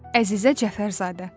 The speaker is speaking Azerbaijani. Əzizə Cəfərzadə.